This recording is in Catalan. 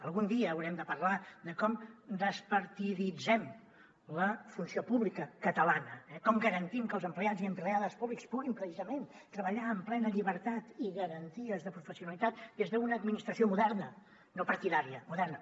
algun dia haurem de parlar de com despartiditzem la funció pública catalana eh com garantim que els empleats i empleades públics puguin precisament treballar amb plena llibertat i garanties de professionalitat des d’una administració moderna no partidària moderna